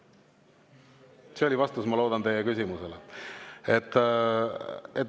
Ma loodan, et see oli vastus teie küsimusele.